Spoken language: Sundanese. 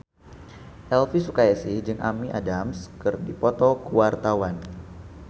Elvy Sukaesih jeung Amy Adams keur dipoto ku wartawan